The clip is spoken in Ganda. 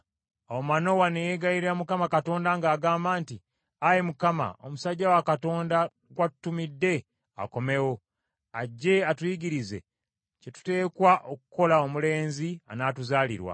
Awo Manowa ne yeegayirira Mukama Katonda ng’agamba nti, “Ayi Mukama wange, omusajja wa Katonda gwe watutumidde, akomewo. Ajje atuyigirize kye tuteekwa okukolera omulenzi anaatuzaalirwa.”